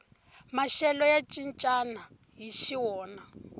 maxelo ya cincana hixi wona